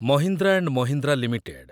Mahindra and Mahindra limited